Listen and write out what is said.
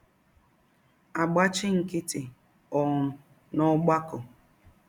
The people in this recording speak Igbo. agbachi nkịtị um n’ọgbakọ. ”